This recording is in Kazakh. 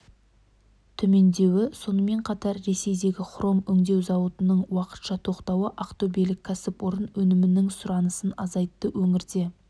төмендеуі сонымен қатар ресейдегі хром өңдеу зауытының уақытша тоқтауы ақтөбелік кәсіпорын өнімінің сұранысын азайтты өңірде